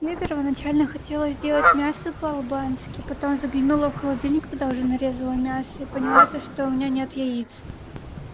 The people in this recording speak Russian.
мне первоначально хотелось сделать мясо по-албански потом заглянула в холодильник когда уже нарезал мясо и поняла то что у меня нет яиц